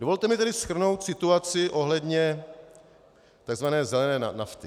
Dovolte mi tedy shrnout situaci ohledně tzv. zelené nafty.